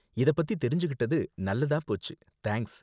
இதப்பத்தி தெரிஞ்சுக்கிட்டது நல்லதா போச்சு, தேங்க்ஸ்.